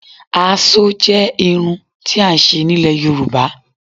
Àásó jẹ́ irun tí à ń ṣe nílẹ̀ Yorùbá.